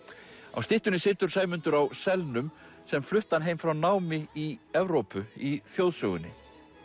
á styttunni situr Sæmundur á sem flutti hann heim frá námi í Evrópu í þjóðsögunni